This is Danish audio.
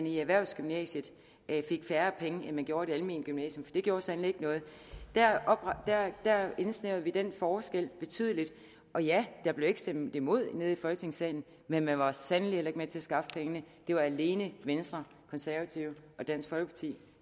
i erhvervsgymnasiet fik færre penge end de gjorde i det almene gymnasium det gjorde sandelig ikke noget der indsnævrede vi den forskel betydeligt og ja der blev ikke stemt imod nede i folketingssalen men man var sandelig ikke med til at skaffe pengene det var alene venstre konservative og dansk folkeparti